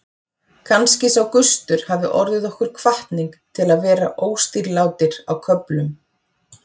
Kannski sá gustur hafi orðið okkur hvatning til að vera óstýrilátir á köflum.